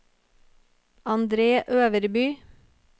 Andre Øverby